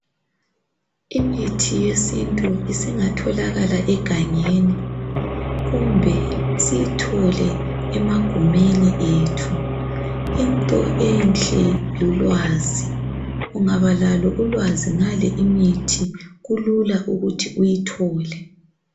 Imithi yesintu isingatholakala egangeni kumbe siyithole emagumeni ethu into enhle lulwazi ungaba lalo ulwazi ngale imithi kulula ukuthi uyitholile